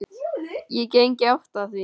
Ég geng í átt að því.